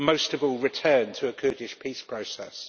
Most of all, return to a Kurdish peace process.